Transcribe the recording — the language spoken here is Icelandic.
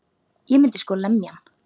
Ég myndi sko lemja hann.